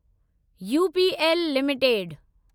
UPL limited